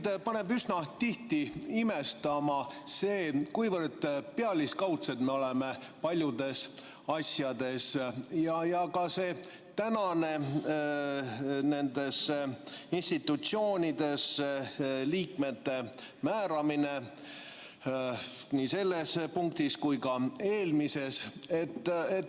Mind paneb üsna tihti imestama see, kuivõrd pealiskaudsed me oleme paljudes asjades, nagu on tänane institutsioonidesse liikmete määramine nii selles punktis kui ka eelmises.